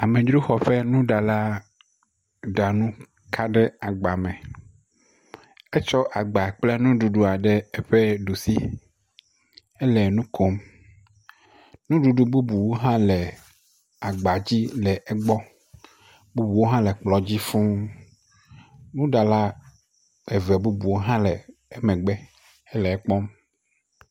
Amedzroxɔƒenuɖala ɖa nu ka ɖe agba me, etsɔ agba kple nuɖuɖua ɖe eƒe ɖusi le nu kom, nuɖuɖu bubu hã le agba dzi le egbɔ, bubuwo hã le kplɔ dzi fuu, nuɖala eve bubuwo hã le emegbe le ekpɔm.